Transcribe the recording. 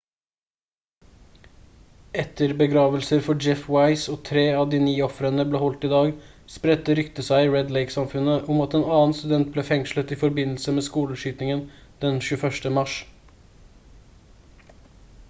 etter begravelser for jeff weise og 3 av de 9 ofrene ble holdt i dag spredte ryktet seg i red lake-samfunnet om at en annen student ble fengslet i forbindelse med skoleskytingen den 21. mars